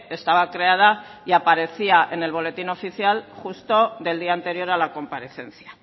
estaba creada y aparecía en el boletín oficial justo del día anterior a la comparecencia